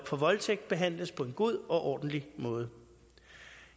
for voldtægt behandles på en god og ordentlig måde